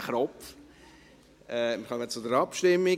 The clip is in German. Wir kommen zur Abstimmung.